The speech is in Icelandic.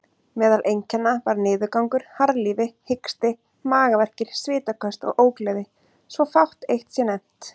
Meðal einkenna var niðurgangur, harðlífi, hiksti, magaverkir, svitaköst og ógleði, svo fátt eitt sé nefnt.